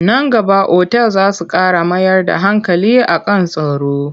Nan gaba otal za su ƙara mayar da hankali a kan tsaro.